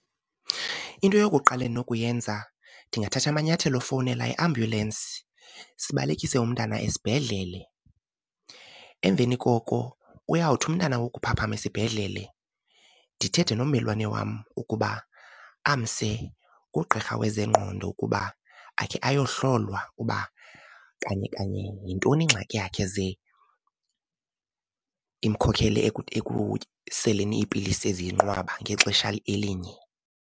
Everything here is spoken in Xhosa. Into yokuqala endinokuyenza ndingathatha amanyathelo ofowunela iambulensi sibalekise umntana esibhedlele. Emveni koko uyawuthi umntana wokuphaphama esibhedlele ndithethe nommelwane wam ukuba amse kugqirha wezengqondo ukuba akhe ayohlolwa uba kanye kanye yintoni ingxaki yakhe ze imkhokele ekuseleni iipilisi eziyinqwaba ngexesha elinye.